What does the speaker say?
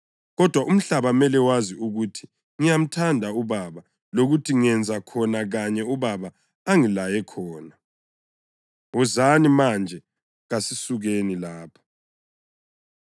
kodwa umhlaba umele wazi ukuthi ngiyamthanda uBaba lokuthi ngenza khona kanye uBaba angilaye khona. Wozani manje; kasisukeni lapha.”